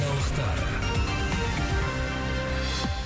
жаңалықтар